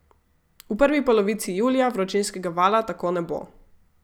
V prvi polovici julija vročinskega vala tako ne bo.